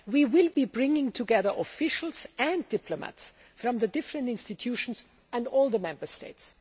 We will be bringing together officials and diplomats from the different institutions and all the Member States.